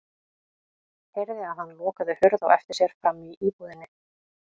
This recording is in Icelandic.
Heyrði að hann lokaði hurð á eftir sér frammi í íbúðinni.